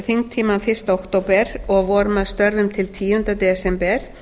þingtímann fyrsta október og vorum að störfum til tíunda desember